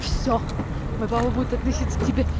все мой папа будет относиться к тебе